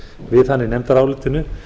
við hana í nefndarálitinu